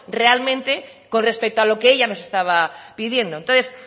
realmente con respecto a lo que ella nos estaba pidiendo entonces